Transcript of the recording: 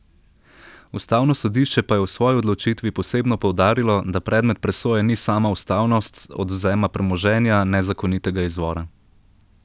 Ustavno sodišče pa je v svoji odločitvi posebno poudarilo, da predmet presoje ni sama ustavnost odvzema premoženja nezakonitega izvora.